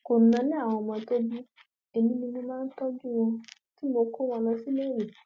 kò náání àwọn ọmọ tó bí èmi ni mo máa ń tọjú wọn tí mò ń kó wọn lọ síléèwé